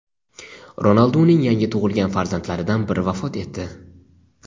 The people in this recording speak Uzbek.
Ronalduning yangi tug‘ilgan farzandlaridan biri vafot etdi.